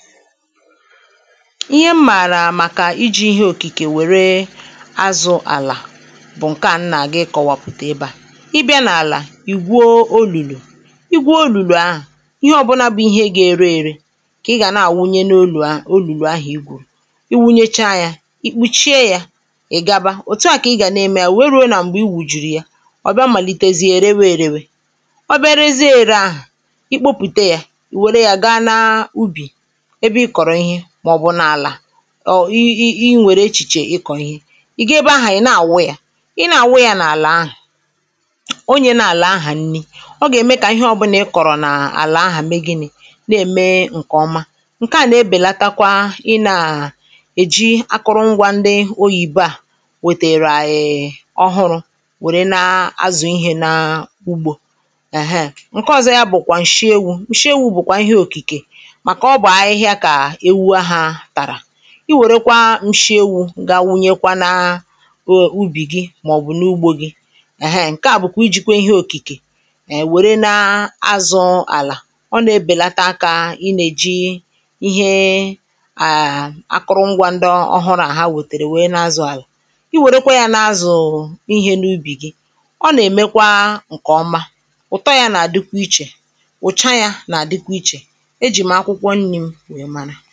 ihe mmàrà màkà iji̇ ihe òkìkè wère azụ̇ àlà bụ̀ ǹkè a nnà gị kọwapụ̀ta ebe à ị bịa n’àlà ì gwuo olùlù ị gwuo olùlù ahụ̀ ihe ọ̀bụnȧ bụ̀ ihe gà-ere ere kà ị gà na-àwụnye n’olùlù ahụ̀ i gwụ̀ iwunyecha yȧ ikpuchie yȧ ì gaba òtu à kà ị gà na-eme ya wee ruo nà m̀gbè i wùjùrù ya ọ bịa màlitezie erewe erewe oberezie ere ahụ̀ ikpopùte yȧ ì wère ya gaa na ubì ọ̀ i i ǹwèrè echìchè ị kọ̀ ihe ì ga ebe ahà ị̀ na-àwụ yȧ i na-àwụ yȧ n’àlà ahà onye na-àlà ahà nni̇ ọ gà-ème kà ihe ọbụlà ị kọ̀rọ̀ n’àlà ahà mee gini̇ na-ème ǹkèọma ǹke à nà-ebèlatakwa ị nȧ-àhà èji akụrụngwȧ ndị oyìbe à wètèrè e ọhụrụ̇ wère na-azụ̀ ihė n’ugbȯ èheè ǹke ọ̀zọ yȧ bụ̀kwà ǹshie ewu̇, ǹshie ewu̇ bụ̀kwà ihe òkìkè i wèrekwa nshiewu̇ ga wunyekwa na uh ubì gị màọ̀bụ̀ n’ugbȯ gị nà nà ǹke à bụ̀kwa ijikwa ihe òkìkè è wère nȧ azụ̇ àlà ọ nà-ebèlata akȧ inèji ihe à akụrụ ngwȧ ndị ọhụrụ̇ àhà wètèrè wèe nà azụ̀ àlà i wèrekwa yȧ nà azụ̀ ihẹ n’ubì gị ọ nà-èmekwa ǹkèọma ụ̀tọ yȧ nà-àdịkwa ichè enyi